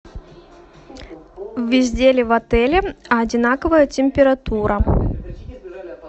везде ли в отеле одинаковая температура